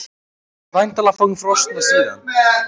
Og hann er vinalegur við hana.